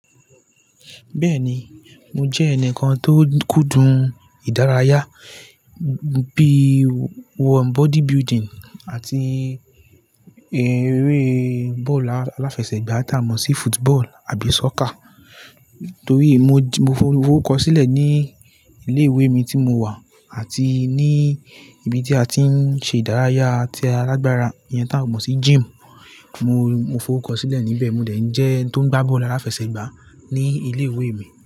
Bẹ́ẹ̀ni, mo jẹ́ ẹnìkan tó kúndùn ìdárayá bí wọ́n body building àti eré bọ́ọ̀lù aláfẹsẹ̀gbá tí a mọ̀ sí football àbí soccer. Nítorí mo, mo forukó sílẹ̀ ní ilé ìwé mi tí mo wà àti ní ibi tí a ti ń ṣe ìdárayá tí alágbaara yẹn tí a mọ̀ sí gym. Mo, mo foruko sílẹ̀ níbẹ̀. Mòde jẹ́ ẹni tó ń gbá bọ́ọ̀lù aláfẹsẹ̀gbá ní ilé ìwé mi.